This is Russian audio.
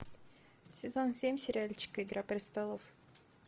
сезон семь сериальчик игра престолов